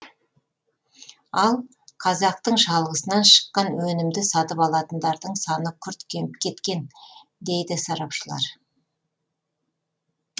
ал қазақтың шалғысынан шыққан өнімді сатып алатындардың саны күрт кеміп кеткен дейді сарапшылар